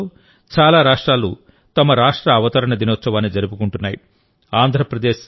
రాబోయే రోజుల్లోచాలా రాష్ట్రాలు తమ రాష్ట్ర అవతరణ దినోత్సవాన్ని జరుపుకుంటున్నాయి